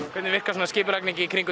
hvernig virkar skipulagningin í kringum